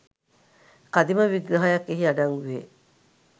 කදිම විග්‍රහයක් එහි අඩංගු වේ